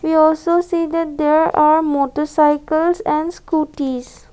we also see that there are motorcycles and scooties.